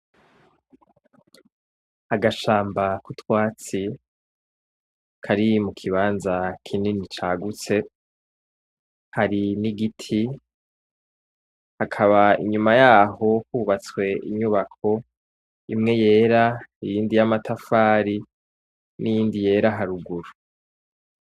Agashamba k'utwatsi kari mu kibanza kinini cagutse, hari n'igiti , hakaba inyuma y'aho hubatswe inyubako imwe yera iyindi y'amatafari n'iyindi yera haruguru.